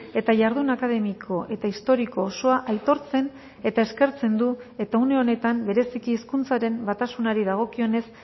eta jardun akademiko eta historiko osoa aitortzen eta eskertzen du eta une honetan bereziki hizkuntzaren batasunari dagokionez